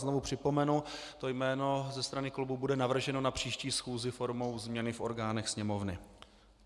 Znovu připomenu, to jméno ze strany klubu bude navrženo na příští schůzi formou změny v orgánech Sněmovny.